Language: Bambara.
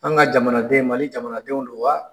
An ŋa jamanaden Mali jamanadenw don wa?